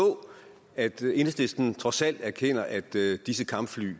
at enhedslisten trods alt erkender at disse kampfly